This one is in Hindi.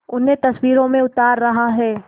उन्हें तस्वीरों में उतार रहा है